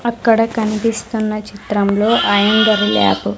అక్కడ కనిపిస్తున్న చిత్రం లో --